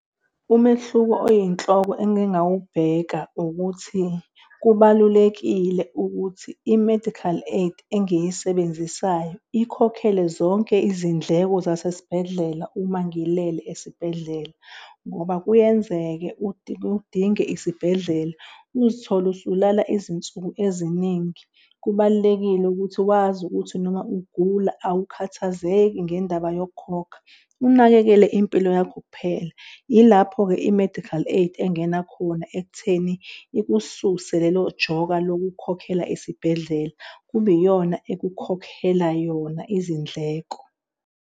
Umehluko oyinhloko engingawibheka ukuthi kubalulekile ukuthi i-medical aid engiyisebenzisayo ikhokhele zonke izindleko zasesibhedlela uma ngilele esibhedlela ngoba kuyenzeke udinge isibhedlela uzithole usulala izinsuku eziningi. Kubalulekile ukuthi wazi ukuthi noma ugula awukhathazeki ngendaba yokukhokha. Unakekele impilo yakho kuphela. Ilapho-ke i-medical aid engena khona ekutheni ikususe lelo joka lokukhokhela isibhedlela, kube iyona ekukhokhela yona izindleko.